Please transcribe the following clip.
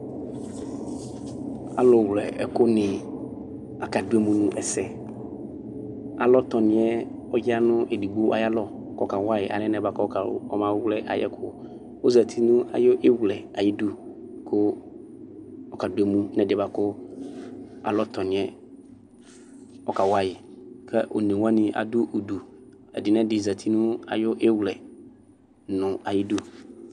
Alʋwlɛ ɛkʋni akadʋ emʋ nʋ ɛsɛ alɔtɔni yɛ ɔyanʋ edigbo ayʋ alɔ kʋ ɔkawayi alɛ na yɛ ɔmawlɛ ayʋ ɛkʋ ɔzati nʋ ayʋ iwlɛ ayʋ idʋ kʋ ɔkadʋ emʋ nʋ ɛdiyɛ bʋakʋ alɔ tɔniyɛ ɔkawayi kʋ one wani adʋ ʋdʋ ɛdi nʋ ɛdi zati nʋ ayʋ ɩwlɛ nʋ ayʋ idʋ